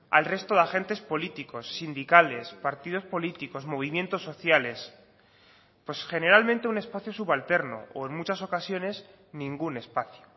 al resto de agentes políticos sindicales partidos políticos movimientos sociales pues generalmente un espacio subalterno o en muchas ocasiones ningún espacio